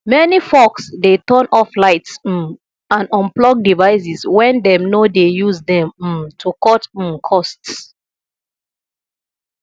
many folks dey turn off lights um and unplug devices when dem no dey use dem um to cut um costs